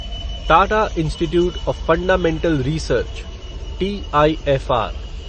Tata institute of fundamental research TIFR